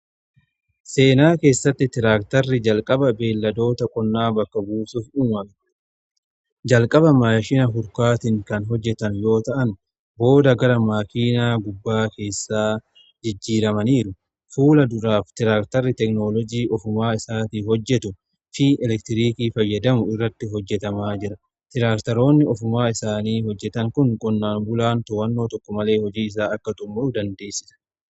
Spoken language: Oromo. Seenaa keessatti tiraaktarri jalqaba beelladoota qonnaa bakka buusuuf uumame. Jalqaba maayashina hu A A Harkaatiin kan hojjetan yoo ta'an booda gara maakiinaa gubbaa keessaa jijjiiramaniiru fuula duraa f tiraaktarri teknoolojii ofumaa isaatii hojjetu fi elektiriikii fayyadamu irratti hojjetamaa jira. Tiraaktaroonni ofumaa isaanii hojjetan kun qonnaan bulaan towannoo tokko malee hojii isaa akka tumu dandeessisa.